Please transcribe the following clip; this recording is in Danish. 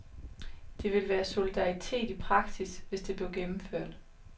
Det vil være solidaritet i praksis, hvis det blev gennemført.